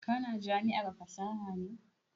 Ka na jami'ar fasaha ne?